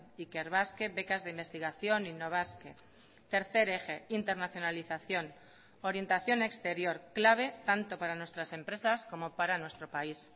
ikerbasque becas de investigación innobasque tercer eje internacionalización orientación exterior clave tanto para nuestras empresas como para nuestro país